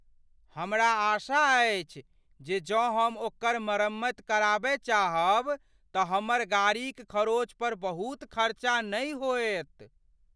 हमरा आशा अछि जे जँ हम ओकर मरम्मति कराबय चाहब तऽ हमर गाड़ीक खरोंचपर बहुत खरचा नहि होयत।